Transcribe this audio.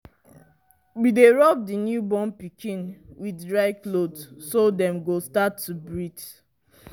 we dy rub the new born pikin with dry cloth so dem go start to breath